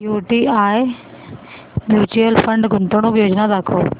UTI mutual fund गुंतवणूक योजना दाखव